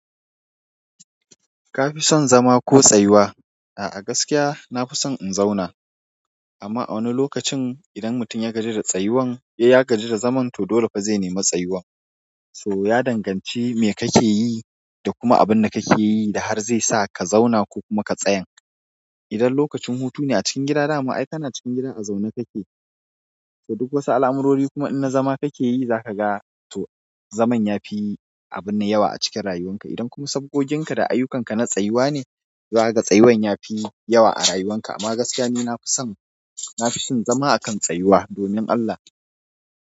Kafi son zama ko tsayuwa? A'a gaskiya na fi son in zauna amma a wani lokacin idan mutum ya gaji da tsayuwan. In ya gaji da zaman to dole fa zai nemi tsayuwan. So ya danganci me kake yi da kuma abunda kake yi da har zai sa ka zauna ko kuma ka tsayan. Idan lokacin hutu ne a cikin gida dama ai kana cikin gidan a zaune kake. So duk wasu alamurori kuma in na zama kake yi za ka ga to zaman yafi abun nan yawa a cikin rayuwan ka. Idan kuma sabgogin ka da ayukan ka na tsayuwa ne to za ka ga tsayuwan yafi yawa a rayuwan ka. Amma gaskiya ni nafi son. Na fi son zama akan tsayuwa domin Allah.